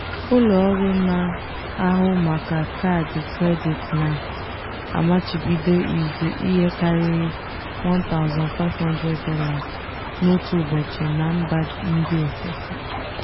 ụlọọrụ na-ahụ maka kaadị kredit na-amachibido ịzụ ihe karịrị $1500 n'otu ụbọchị na mba ndị ofesi.